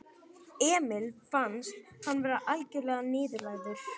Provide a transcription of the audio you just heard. Emil fannst hann vera algjörlega niðurlægður.